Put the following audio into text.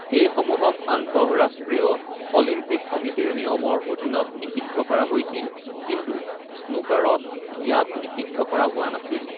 এই সমূহক আন্তঃৰাষ্ট্ৰীয় অলিম্পিক সমিতিৰ নিয়মৰ অধীনত নিষিদ্ধ কৰা হৈছিল, কিন্তু স্নুকাৰত ইয়াক নিষিদ্ধ কৰা হোৱা নাছিল।